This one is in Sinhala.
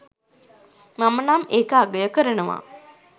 මමනම් ඒක අගය කරනවා